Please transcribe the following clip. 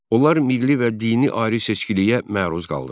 Onlar milli və dini ayrı-seçkiliyə məruz qaldılar.